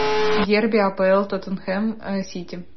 дерби апл тоттенхэм сити